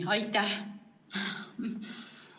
Aitäh!